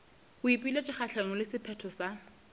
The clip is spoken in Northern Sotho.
boipiletšo kgahlanong le sephetho sa